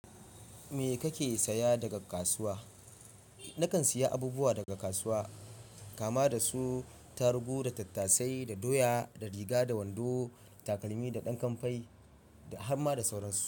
Me kake saya daga kasuwa? Nakan siya abubuwa daga kasuwa kama da su: tarugu, da tattasai, da doya, da riga, da wando, takalmi, da ɗan kamfai, da har ma da sauransu.